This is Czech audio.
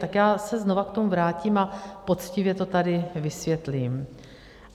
Tak já se znova k tomu vrátím a poctivě to tady vysvětlím.